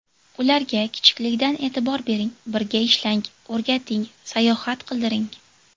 Ularga kichikligidan e’tibor bering, birga ishlang, o‘rgating, sayohat qildiring.